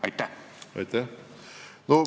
Aitäh!